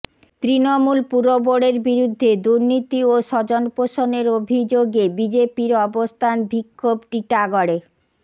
তৃণমূল পুরবোর্ডের বিরুদ্ধে দুর্নীতি ও স্বজনপোষনের অভিযোগে বিজেপির অবস্থান বিক্ষোভ টিটাগড়ে